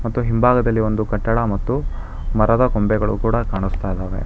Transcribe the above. ಮತ್ತು ಹಿಂಭಾಗದಲ್ಲಿ ಒಂದು ಕಟ್ಟಡ ಮತ್ತು ಮರದ ಕೊಂಬೆಗಳು ಕೂಡ ಕಾಣಸ್ತಾಇದಾವೆ.